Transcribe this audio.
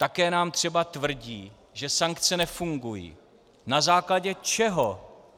Také nám třeba tvrdí, že sankce nefungují - na základě čeho?